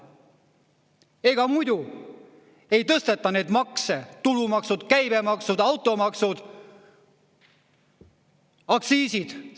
Ega muidu ei tõsteta neid makse: tulumaksud, käibemaksud, automaksud, aktsiisid.